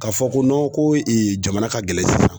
Ka fɔ ko ko jamana ka gɛlɛn sisan